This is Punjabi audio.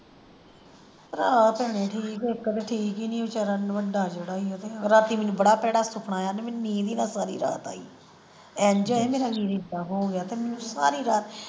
ਭਰਾ ਭੈਣੇ ਠੀਕ ਇੱਕ ਤੇ ਠੀਕ ਹੀ ਨਹੀਂ ਵਿਚਾਰਾ ਵੱਡਾ ਜਿਹੜਾ ਈ ਉਹ ਤੇ ਰਾਤੀ ਮੈਨੂੰ ਬੜਾ ਭੈੜਾ ਸੁਪਨਾ ਆਇਆ ਤੇ ਮੈਨੂੰ ਨੀਂਦ ਹੀ ਨਾ ਸਾਰੀ ਰਾਤ ਆਈ ਐਂਜ ਹੋਏ ਮੇਰਾ ਵੀਰ ਏਦਾਂ ਹੋ ਗਿਆ ਤੇ ਮੈਨੂੰ ਸਾਰੀ ਰਾਤ,